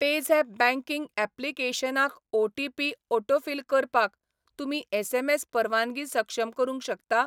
PayZapp banking ऍप्लिकेशनाक OTP autofill करपाक तुमी एसएमएस परवानगी सक्षम करूंक शकता?